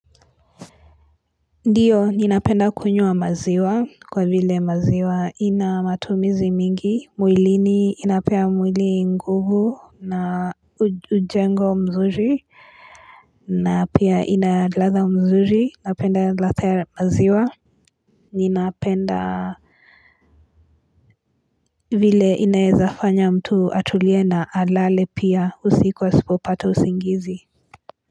Ndiyo ninapenda kunywa maziwa kwa vile maziwa inamatumizi mingi mwilini inapea mwili nguvu na ujengo mzuri na pia inaladha mzuri napenda ladha maziwa ninapenda vile inaezafanya mtu atuliena alale pia usikuwa sipo pata usingizi.